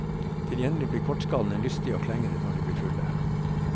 Til gjengjeld ble kortskallene lystige og klengete når de ble fulle.